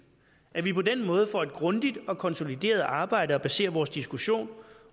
at vi på den måde får et grundigt og konsolideret arbejde at basere vores diskussion